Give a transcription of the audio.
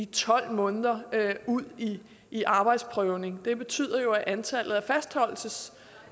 tolv måneder ud i i arbejdsprøvning det betyder jo at antallet